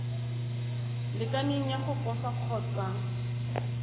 lekaneng ya go posa kgotsa